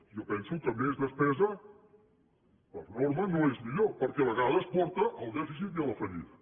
jo penso que més despesa per norma no és millor perquè a vegades porta al dèficit i a la fallida